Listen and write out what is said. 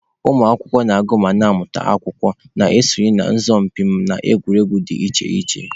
Ụmụ akwụkwọ na-agụ ma na-amụta akwụkwọ, na-esonye na asọmụpi na egwuregwu dị iche iche.